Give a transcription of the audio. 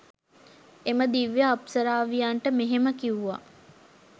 එම දිව්‍ය අප්සරාවියන්ට මෙහෙම කිව්වා.